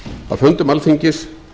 að fundum alþingis